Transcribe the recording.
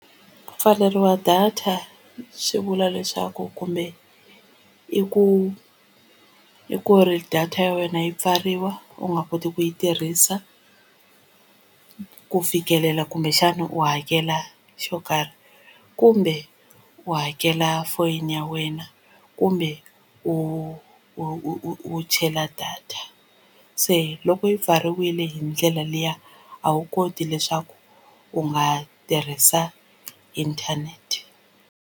Ku pfaleriwa data swi vula leswaku kumbe i ku i ku ri data ya wena yi pfariwa u nga koti ku yi tirhisa ku fikelela kumbexana u hakela xo karhi kumbe u hakela foyini ya wena kumbe u chela data se loko yi pfariwile hi ndlela liya a wu koti leswaku u nga tirhisa inthanete.